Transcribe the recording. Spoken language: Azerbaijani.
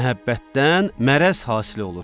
Məhəbbətdən mələrz hasil olur.